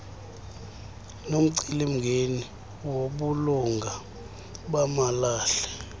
nomcelimngeni wobulunga bamalahle